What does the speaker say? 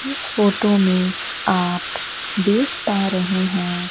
इस फोटो में आप देख पा रहे हैं।